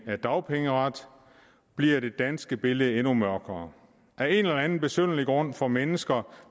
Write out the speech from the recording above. af dagpengeret bliver det danske billede endnu mørkere af en eller anden besynderlig grund får mennesker